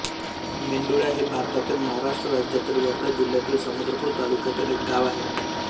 मेंडुळा हे भारतातील महाराष्ट्र राज्यातील वर्धा जिल्ह्यातील समुद्रपूर तालुक्यातील एक गाव आहे